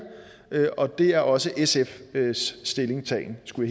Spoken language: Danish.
og det er også sfs stillingtagen skulle